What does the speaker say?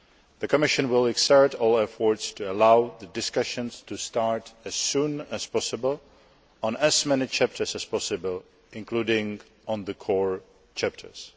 The Commission will exert all efforts to allow the discussions to start as soon as possible on as many chapters as possible, including on the core chapters.